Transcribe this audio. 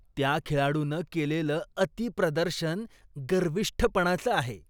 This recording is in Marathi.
त्या खेळाडूनं केलेलं अतिप्रदर्शन गर्विष्ठपणाचं आहे.